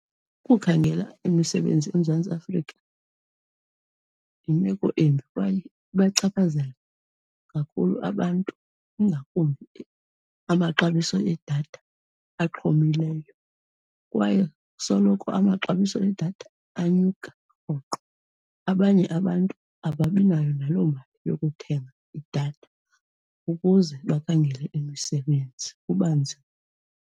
Ukukhangela imisebenzi eMzantsi Afrika yimeko embi kwaye ibachaphazela kakhulu abantu, ingakumbi amaxabiso edatha axhomileyo. Kwaye soloko amaxabiso edatha anyuka rhoqo, abanye abantu ababinayo naloo mali yokuthenga idatha ukuze bakhangele imisebenzi, kuba nzima.